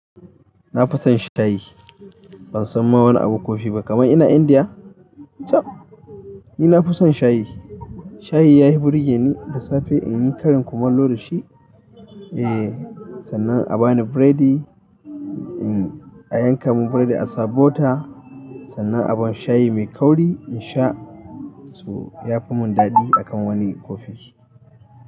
Na fi son shayi. Ban san ma wani abu kofi ba kamar ina Indiya. Chab! Ni na fi son shayi. Shayi ya fi burge ni, da safe in yi karin kumallo da shi. Eh, sannan a bani biredi, in a yanka mun biredi a sa butter, sannan a ban shayi mai kauri in sha, so ya fi mun daɗi akan wani kofi.